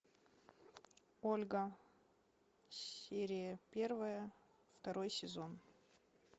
ольга серия первая второй сезон